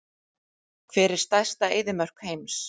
Hver er stærsta eyðimörk heims?